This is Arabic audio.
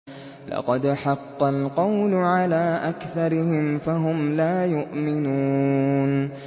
لَقَدْ حَقَّ الْقَوْلُ عَلَىٰ أَكْثَرِهِمْ فَهُمْ لَا يُؤْمِنُونَ